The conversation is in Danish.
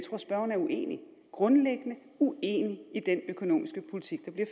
grundlæggende uenig i den økonomiske politik der bliver